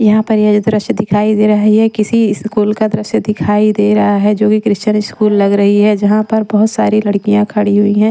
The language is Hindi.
यहाँ पर ये जो दृश्य दिखाई दे रहा है ये किसी स्कूल का दृश्य दिखाई दे रहा है जो कि क्रिश्चन स्कूल लग रही है जहाँ पर बहुत सारी लड़कियाँ खड़ी हुई हैं।